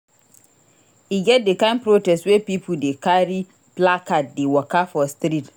E get di kain protest wey pipo dey carry placard dey waka for street.